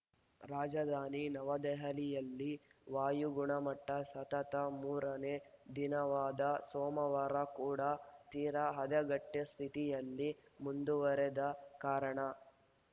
ರಾಜಧಾನಿ ನವದೆಹಲಿಯಲ್ಲಿ ವಾಯುಗುಣಮಟ್ಟಸತತ ಮೂರನೇ ದಿನವಾದ ಸೋಮವಾರ ಕೂಡಾ ತೀರಾ ಹದಗೆಟ್ಟೆ ಸ್ಥಿತಿಯಲ್ಲೇ ಮುಂದುವರೆದ ಕಾರಣ